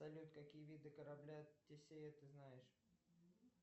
салют какие виды корабля тесея ты знаешь